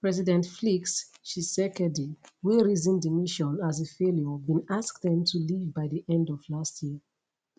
president flix tshisekedi wey reason di mission as a failure bin ask dem to leave by di end of last year